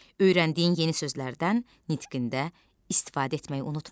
Öyrəndiyin yeni sözlərdən nitqində istifadə etməyi unutma.